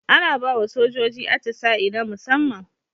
Ana bawa sojoji atisa'i na musaman